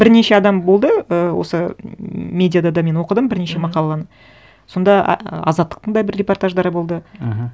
бірнеше адам болды ы осы ммм медиада да мен оқыдым бірнеше мақаланы сонда азаттықтың да бір репортаждары болды мхм